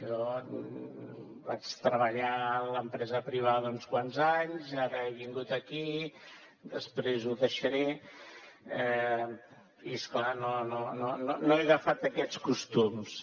jo vaig treballar en l’empresa privada uns quants anys ara he vingut aquí després ho deixaré i és clar no he agafat aquests costums